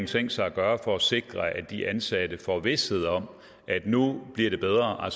tænkt sig at gøre for at sikre at de ansatte får vished om at det nu bliver bedre at